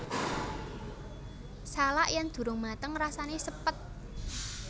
Salak yen durung mateng rasane sepet